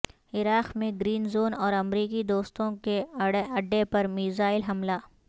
عراق میں green zone اور امریکی دستوں کے اڈہ پر میزائل حملہ